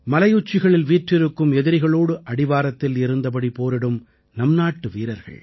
மலையுச்சிகளில் வீற்றிருக்கும் எதிரிகளோடு அடிவாரத்தில் இருந்தபடி போரிடும் நம் நாட்டு வீரர்கள்